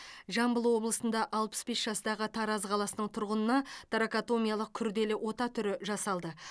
жамбыл облысында алпыс бес жастағы тараз қаласының тұрғынына торакотомиялық күрделі ота түрі жасалды